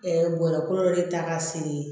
bɔrɛ ko de ta ka feere